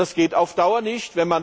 Das geht auf Dauer nicht.